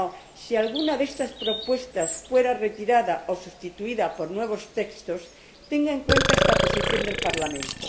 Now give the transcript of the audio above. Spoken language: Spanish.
Bilbao si alguna de estas propuestas fuera retirada o sustituida por nuevos textos, tenga en cuenta esta posición del Parlamento.